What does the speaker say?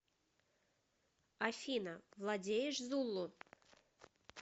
афина владеешь зулу